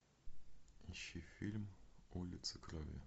ищи фильм улицы крови